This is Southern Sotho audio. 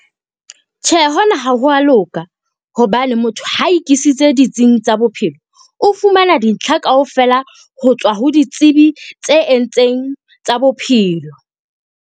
Tjhe, hona ha ho a loka hobane motho ha e kisitse ditsing tsa bophelo. O fumana dintlha kaofela ho tswa ho ditsibi tse entseng tsa bophelo.